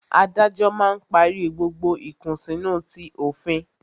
Adájọ́ máa ń parí gbogbo ìkùnsínú ti òfin